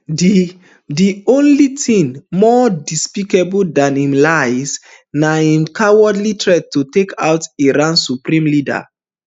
di di only tin more despicable dan im lies na im cowardly threat to take out iran supreme leader